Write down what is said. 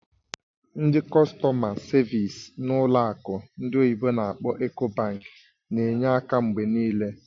Ndị kọstọ̀ma savịs n'ụlọ akụ ndị oyibo n'akpọ "Ecobank" na-enye aka mgbe niile.